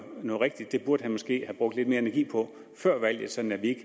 noget rigtigt det burde han måske have brugt lidt mere energi på før valget sådan at vi